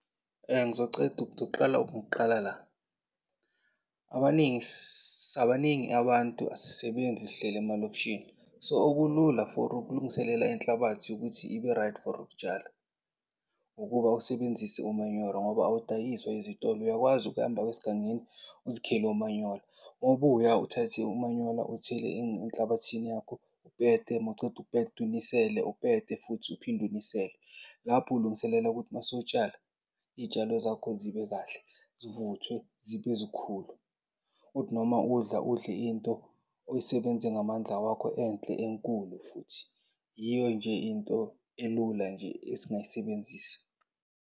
Ngizoceda, ngizoqala ngokuqala la. Abaningi, baningi abantu asisebenzi sihleli emalokishini, so okulula for ukulungiselela inhlabathi ukuthi ibe-right for ukutshala ukuba usebenzise umanyoro ngoba awudayiswa ezitolo. Uyakwazi ukuhamba esigangeni uzikhele omanyolo. Mawubuya, uthathe umanyola uwuthele enhlabathini yakho, mawuceda unisele, futhi uphinde unisele. Lapho ulungiselela ukuthi masowutshala, iy'tshalo zakho zibe kahle zivuthwe, zibe zikhulu. Kuthi noma udla, udle into oyisebenze ngamandla wakho enhle enkulu futhi. Yiyo nje into elula nje esingayisebenzisa.